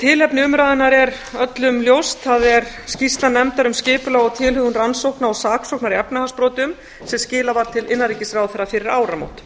tilefni umræðunnar er öllum ljóst það er skýrsla nefndar um skipulag og tilhögun rannsókna og saksóknar í efnahagsbrotum sem skilað var til innanríkisráðherra fyrir áramót